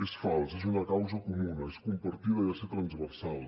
és fals és una causa comuna és compartida i ha de ser transversal